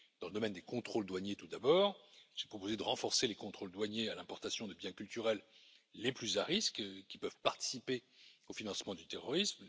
Dans le domaine des contrôles douaniers tout d'abord, j'ai proposé de renforcer les contrôles douaniers à l'importation de biens culturels les plus à risque, qui peuvent participer au financement du terrorisme.